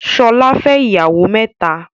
Ṣọlá fẹ́ ìyàwó mẹ́ta.